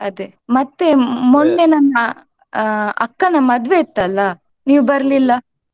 ಅದೇ ಮತ್ತೆ ಮೊನ್ನೆ ನಮ್ಮ ಆ ಅಕ್ಕನ ಮದುವೆ ಇತ್ತಲ್ಲ ನೀವು ಬರ್ಲಿಲ್ಲ.